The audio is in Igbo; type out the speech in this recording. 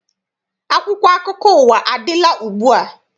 Akwụkwọ akụkọ ụwa adịla ugbua?